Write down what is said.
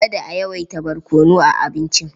Kada a yawaita barkono a abincin.